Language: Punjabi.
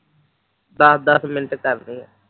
ਦਸ ਦਸ ਮਿੰਟ ਕਰਨੇ ਐ